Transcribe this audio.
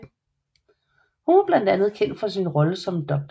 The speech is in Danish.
Hun var blandt andet kendt for sin rolle som Dr